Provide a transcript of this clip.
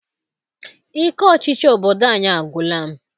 Ike ọchịchị obodo anyị agwụla m.